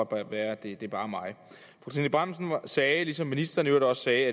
godt være at det bare er mig trine bramsen sagde ligesom ministeren i øvrigt også sagde